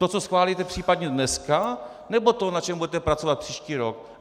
To, co schválíte případně dneska, nebo to, na čem budete pracovat příští rok?